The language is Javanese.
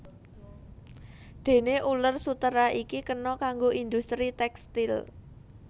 Déné uler sutera iki kena kanggo industri tékstil